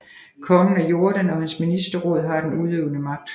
Kongen af Jordan og hans ministerråd har den udøvende magt